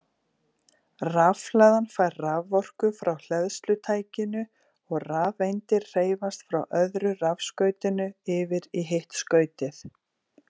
Rafhlaðan fær raforku frá hleðslutækinu og rafeindir hreyfast frá öðru rafskautinu yfir í hitt skautið.